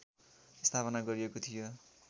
स्थापना गरिएको थियो